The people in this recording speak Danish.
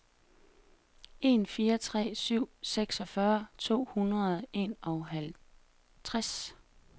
en fire tre syv seksogfyrre to hundrede og enoghalvtreds